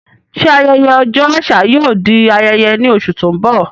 Ṣé ayẹyẹ Ọjọ́ Àṣà yóò di ayẹyẹ ní oṣù tó ń bọ̀?